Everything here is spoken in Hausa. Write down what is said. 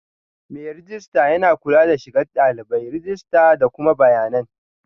Mai rejista yana kula da shigar dalibai, rajista da kuma bayanan